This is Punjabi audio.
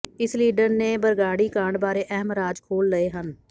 ਇਸ ਲੀਡਰ ਨੇ ਬਰਗਾੜੀ ਕਾਂਡ ਬਾਰੇ ਅਹਿਮ ਰਾਜ ਖੋਲ੍ਹ ਲਏ ਹਨ